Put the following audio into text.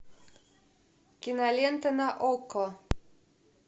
кинолента на окко